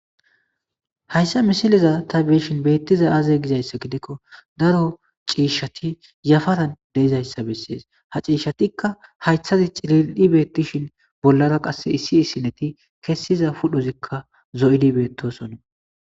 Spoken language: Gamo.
Hayssa misiliza tha be7ishin beeththiza aazee gizayssa gidikko daro ciishshathi yafaran de7izayssa bessees; ha ciishshathikka hayththadi cilil7i beeththishin bollara qassi issi issinethi kessiza pudhozikka zo7ydi beeththoosona.